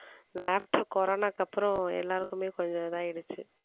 after corona க்கு அப்புறம், எல்லாருக்குமே கொஞ்சம் இதாயிடுச்சு